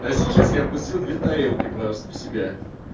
а сейчас я пустил две тарелки просто в себя